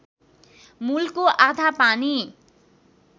मूलको आधा पानी